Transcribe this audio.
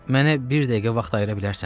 Mənə bir dəqiqə vaxt ayıra bilərsən?